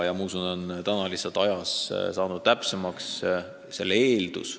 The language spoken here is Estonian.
Nüüd on see lihtsalt täpsemaks muutunud.